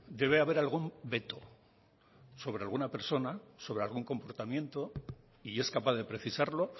debe haber algún veto sobre alguna persona sobre algún comportamiento y es capaz de precisarlo